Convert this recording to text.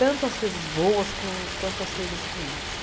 Tanto as coisas boas quan quanto as coisas ruins.